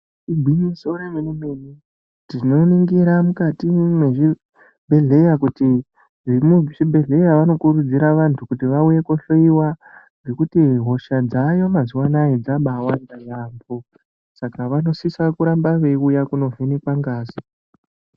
Igwinyiso remene mene tinoningira mukati mezvibhedhlera kuti zvinove zvibhedhlera vanokurudzirwa vantu kuti vahloiwe nekuti hosha dzayo mazuva ano dzakawanda yambo saka vanosisa kuramba veiuya kundovhenekwa ngazi.